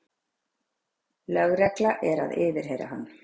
Lögregla er að yfirheyra hann